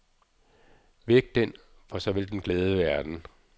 Væk den, for så vil den glæde verden.